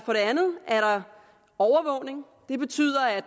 andet er der overvågning det betyder at